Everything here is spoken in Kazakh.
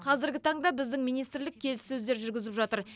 қазіргі таңда біздің министрлік келіссөздер жүргізіп жатыр